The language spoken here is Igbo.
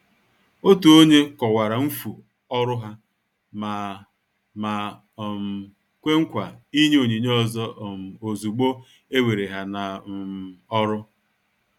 Òtù ònye kọ̀wara mfu ọrụ ha ma ma um kwè nkwa ịnye onyinye ọzọ um ozúgbo e were ha n' um ọrụ.